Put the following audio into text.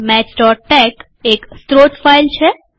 મેથ્સટેક એક સ્રોત ફાઈલ છે